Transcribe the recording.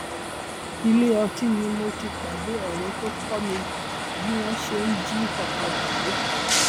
ilé ọtí ni mo ti pàdé ọrẹ tó kọ mi bí wọn ṣe ń jí ọkadà gbé